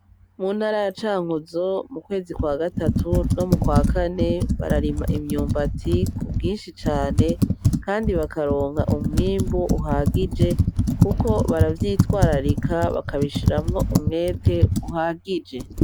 Muntara ya cankozo mukwezi kwa gatatu no mukwa kane bararima imyumbati ku bwinshi cane kandi bakaronka umwimbo uhagije kuko baravyitwararika bakabishiramwo umwete uhagije.